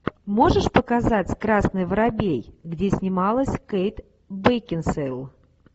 можешь показать красный воробей где снималась кейт бекинсейл